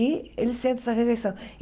E eles sentem essa rejeição.